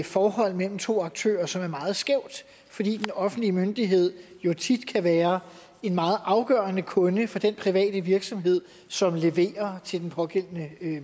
forhold mellem to aktører som er meget skævt fordi den offentlige myndighed jo tit kan være en meget afgørende kunde for den private virksomhed som leverer til den pågældende